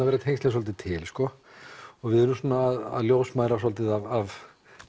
verða tengslin svolítið til sko við erum svona að ljósmæðrast svolítið af